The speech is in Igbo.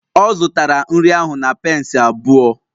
Ọ zụtara nri ahụ na pence abụọ